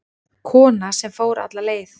Kona sem fór alla leið